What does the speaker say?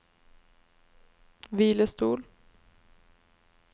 hvilestol